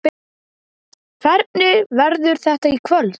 Hvernig verður þetta í kvöld?